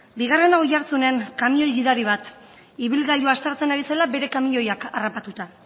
bigarrena oiartzunen kamioi gidari bat ibilgailua aztertzen ari zela bere kamioiak harrapatuta